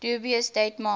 dubious date march